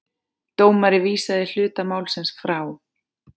Dómari vísaði hluta málsins frá.